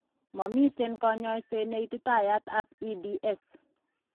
Momiten kanyaiset neititayat ab EDS